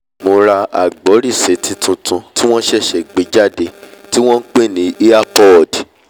mo ra agbórisétí tuntun tí wọ́n ṣẹ̀ṣẹ̀ gbé jáde tí wọ́n npè ní earpod